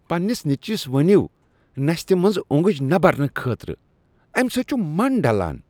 پنٛنس نیٚچوِس ؤنو نستہِ منٛز اونٛگج نَہ برنہٕ خٲطرٕ۔ امہِ سۭتۍ چُھ من ڈلان۔